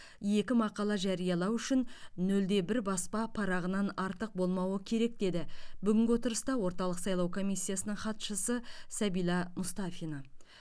екі мақала жариялау үшін нөл де бір баспа парағынан артық болмауы керек деді бүгінгі отырыста орталық сайлау комиссиясының хатшысы сабила мұстафина